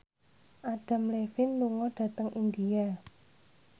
Adam Levine lunga dhateng India